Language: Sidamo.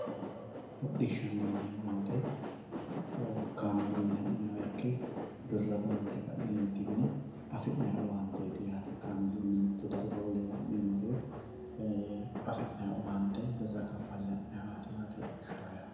Hodhishana yineemo woyite kaamelunni hananiha ikke birra baante ka'neetinni afinayi owaanteti yaate kaamelunni mitu dariga wolewa ha'ne marre afinayi owaante birra kafale ha'nayiwaati yaate hodhishaho yaa